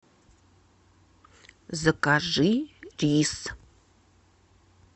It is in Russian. закажи рис